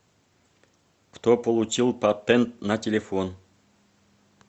кто получил патент на телефон